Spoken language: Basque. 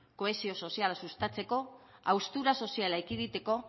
kohesio soziala sustatzeko haustura soziala ekiditeko